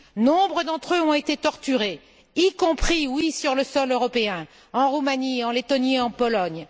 Nombre d'entre eux ont été torturés, y compris sur le sol européen en Roumanie, en Lettonie et en Pologne.